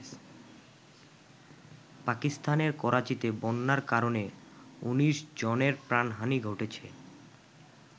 পাকিস্তানের করাচীতে বন্যার কারণে ১৯ জনের প্রাণহানি ঘটেছে।